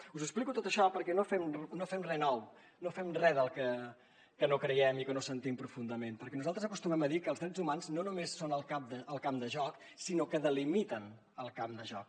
us explico tot això perquè no fem re nou no fem re que no creiem i que no sentim profundament perquè nosaltres acostumem a dir que els drets humans no només són el camp de joc sinó que delimiten el camp de joc